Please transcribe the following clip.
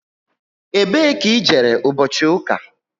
Ebe ka i jere ụbọchị ụka?